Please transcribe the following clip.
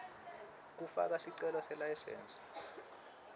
kufaka sicelo selayisensi